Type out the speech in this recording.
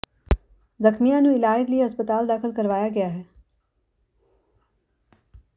ਜ਼ਖ਼ਮੀਆਂ ਨੂੰ ਇਲਾਜ ਲਈ ਹਸਪਤਾਲ ਦਾਖ਼ਲ ਕਰਵਾਇਆ ਗਿਆ ਹੈ